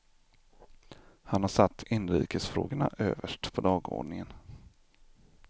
Han har satt inrikesfrågorna överst på dagordningen.